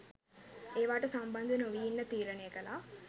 ඒවාට සම්බන්ධ නොවී ඉන්න තීරණය කළා.